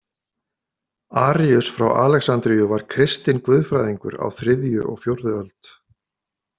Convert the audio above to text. Aríus frá Alexandríu var kristinn guðfræðingur á þriðju og fjórðu öld.